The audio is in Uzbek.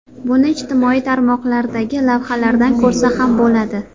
Buni ijtimoiy tarmoqlardagi lavhalardan ko‘rsa ham bo‘ladi.